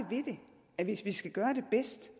at vi hvis vi skal gøre det bedst